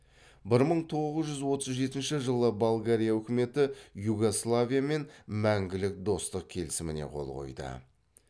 бір мың тоғыз жүз отыз жетінші жылы болгария үкіметі югославиямен мәңгілік достық келісіміне қол қойды